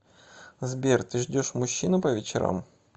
сбер ты ждешь мужчину по вечерам